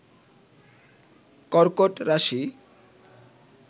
কর্কট রাশি